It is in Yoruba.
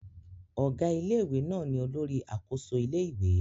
Ọ̀gá ilé-ìwé náà ni olórí àkóso ilé-ìwé